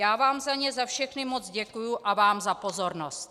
Já vám za ně za všechny moc děkuji a vám za pozornost.